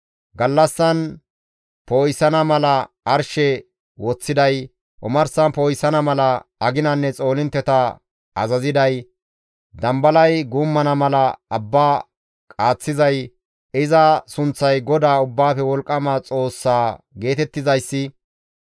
Gallassan poo7isana mala arshe woththiday, omarsan poo7isana mala aginanne xoolintteta azaziday, dambalay guummana mala abba qaaththizay iza sunththay GODAA Ubbaafe Wolqqama Xoossa geetettizayssi,